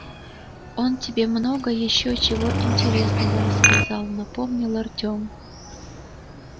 он тебе много ещё чего интересного рассказал напомнил артем